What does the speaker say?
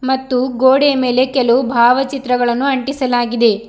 ಮತ್ತು ಗೋಡೆಯ ಮೇಲೆ ಕೆಲವು ಭಾವಚಿತ್ರಗಳನ್ನು ಅಂಟಿಸಲಾಗಿದೆ.